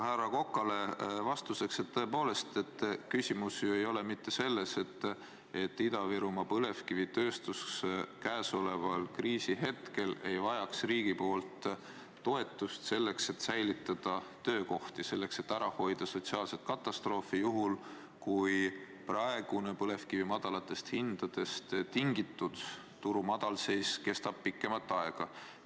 Härra Kokale vastuseks: tõepoolest, küsimus ei ole mitte selles, et Ida-Virumaa põlevkivitööstus praegusel kriisihetkel ei vajaks riigi poolt toetust, et säilitada töökohti, et ära hoida sotsiaalset katastroofi juhul, kui põlevkivi madalatest hindadest tingitud turu madalseis kestab pikemat aega.